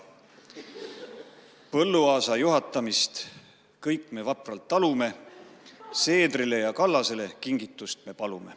Põlluaasa juhatamist kõik me vapralt talume, Seedrile ja Kallasele kingitust me palume.